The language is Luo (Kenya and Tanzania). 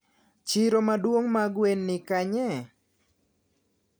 Chiro maduong mar gwen ni kanye?